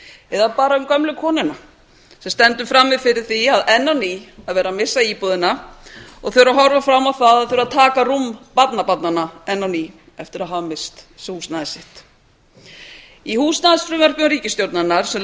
eða bara um gömlu konuna sem stendur frammi fyrir því enn á ný að vera að missa íbúðina og þegar þau horfa fram á það að þurfa að taka rúm barnabarnanna enn á ný eftir að hafa misst húsnæði sitt í húsnæðisfrumvörpum ríkisstjórnarinnar sem